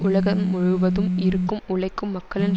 உலகம் முழுவதும் இருக்கும் உழைக்கும் மக்களின்